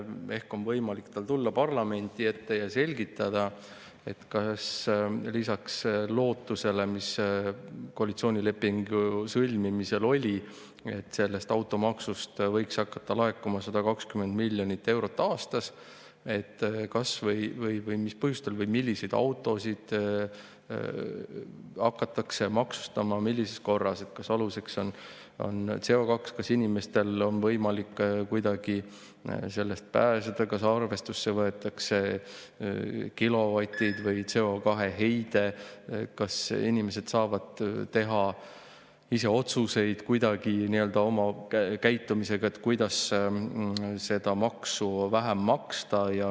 Ehk on tal võimalik tulla parlamendi ette ja selgitada – lisaks lootusele, mis koalitsioonilepingu sõlmimisel oli, et automaksust võiks hakata laekuma 120 miljonit eurot aastas –, mis põhjustel või milliseid autosid hakatakse maksustama, millises korras, kas aluseks on CO2, kas inimestel on võimalik kuidagi sellest pääseda, kas arvesse võetakse kilovatid või CO2-heide ja kas inimesed saavad teha kuidagi oma käitumisega midagi, et seda maksu vähem maksta.